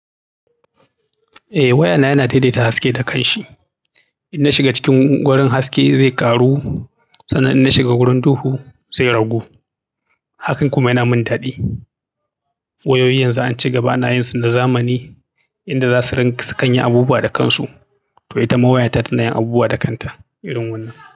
Eh wayana yana daidaita haske da kanshi. In na shiga cikin wurin haske zai ƙaru sannan in na shiga wurin duhu zai ragu. Hakan kuma yana min ɗadi. Wayoyi yanzu an ci gaba na yin su da zamani inda za su su kan yi abubuwa da kansu. To itama waya ta tana yin abubuwa da kanta irin wannan.